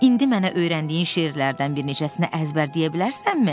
İndi mənə öyrəndiyin şeirlərdən bir neçəsinə əzbərdəyə bilərsənmi?